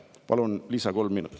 Palun kolm lisaminutit.